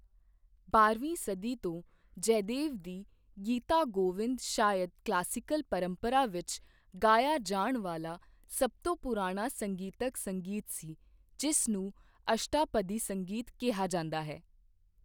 ਬਾਰਵੀਂ ਸਦੀ ਤੋਂ ਜੈਦੇਵ ਦੀ ਗੀਤਾ ਗੋਵਿੰਦ ਸ਼ਾਇਦ ਕਲਾਸੀਕਲ ਪਰੰਪਰਾ ਵਿੱਚ ਗਾਇਆ ਜਾਣ ਵਾਲਾ ਸਭ ਤੋਂ ਪੁਰਾਣਾ ਸੰਗੀਤਕ ਸੰਗੀਤ ਸੀ ਜਿਸ ਨੂੰ ਅਸ਼ਟਾਪਦੀ ਸੰਗੀਤ ਕਿਹਾ ਜਾਂਦਾ ਹੈ।